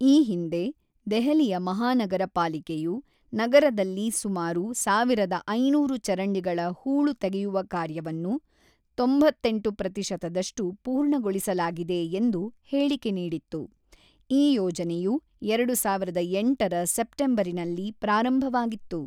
ಈ ಹಿಂದೆ, ದೆಹಲಿಯ ಮಹಾನಗರ ಪಾಲಿಕೆಯು ನಗರದಲ್ಲಿ ಸುಮಾರು ಒಂದು ಸಾವಿರದ ಐನೂರು ಚರಂಡಿಗಳ ಹೂಳು ತೆಗೆಯುವ ಕಾರ್ಯವನ್ನು ತೊಂಬತ್ತೆಂಟು ಪ್ರತಿಶತದಷ್ಟು ಪೂರ್ಣಗೊಳಿಸಲಾಗಿದೆ ಎಂದು ಹೇಳಿಕೆ ನೀಡಿತ್ತು, ಈ ಯೋಜನೆಯು ಎರಡು ಸಾವಿರದ ಎಂಟರ ಸೆಪ್ಟೆಂಬರಿನಲ್ಲಿ ಪ್ರಾರಂಭವಾಗಿತ್ತು.